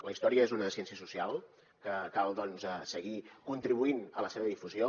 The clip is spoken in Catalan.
la història és una ciència social que cal doncs seguir contribuint a la seva difusió